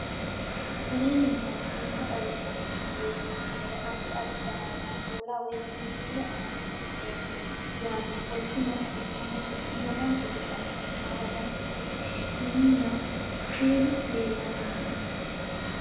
aleenni nooti maa xawisanno misileeti yinummoro addi addi dananna kuula woy biinsille amaddino footooti yaate qoltenno baxissannote konnira dancha gede assine haara danchate minunna kushsheenu leellanni nooe